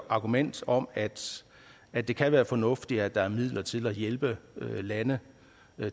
argumentet om at at det kan være fornuftigt at der er midler til at hjælpe lande